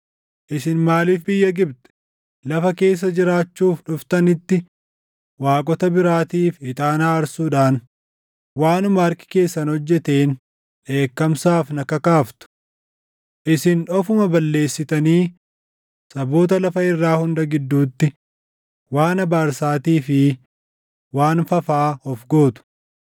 Isin maaliif biyya Gibxi, lafa keessa jiraachuuf dhuftanitti waaqota biraatiif ixaana aarsuudhaan waanuma harki keessan hojjeteen dheekkamsaaf na kakaaftu? Isin ofuma balleessitanii saboota lafa irraa hunda gidduutti waan abaarsaatii fi waan fafaa of gootu.